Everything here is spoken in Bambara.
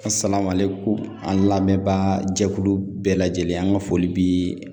an lamɛnba jɛkulu bɛɛ lajɛlen, an ka foli bi